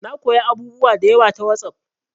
Na koya abubuwa da yawa ta WhatsApp